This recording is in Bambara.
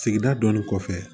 Sigida dɔnni kɔfɛ